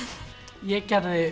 ég gerði